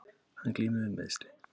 Hann glímir við meiðsli